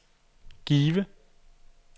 Give